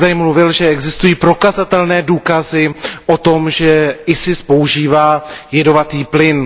Vy jste tady tvrdil, že existují prokazatelné důkazy o tom, že IS používá jedovatý plyn.